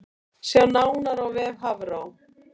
Sjá nánar á vef Hafró